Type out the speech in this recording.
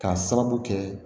K'a sababu kɛ